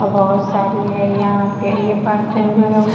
और बहुत सारी है यहाँ पे ये बर्तन जो है ।